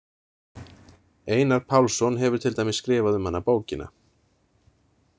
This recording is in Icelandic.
Einar Pálsson hefur til dæmis skrifað um hana bókina.